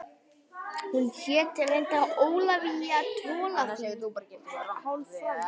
Hún hét reyndar Ólafía Tolafie og var hálf frönsk